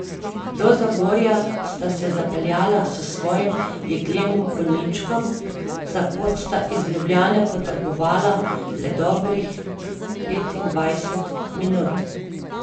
Do Zagorja sta se zapeljala s svojim jeklenim konjičkom, za pot sta iz Ljubljane potrebovala le dobrih petindvajset minut.